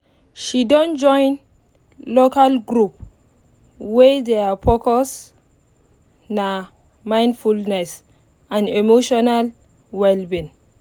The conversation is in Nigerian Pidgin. they don join local group wey thier focus nah mindfulness and emotional well-being